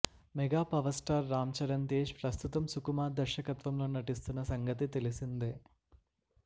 mega power star Ram Charan Tej ప్రస్తుతం సుకుమార్ దర్శకత్వంలో నటిస్తున్న సంగతి తెలిసిందే